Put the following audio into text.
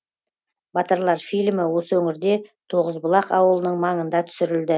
батырлар фильмі осы өңірде тоғызбұлақ ауылының маңында түсірілді